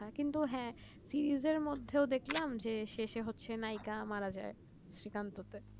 কিন্তু হ্যাঁ সে নিজের মধ্যে দেখলাম যে শেষে হচ্ছে নায়িকা মারা যায় শ্রীকান্ত তে